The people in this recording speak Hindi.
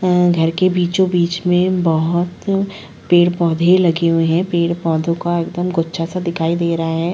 अ घर के बीचो-बीच में बहुत पेड़-पौधे लगे हुए है पेड़-पौधों का एकदम गुच्छा-सा दिखाई दे रहा है।